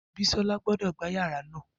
Bisola gbọdọ gba yara naa!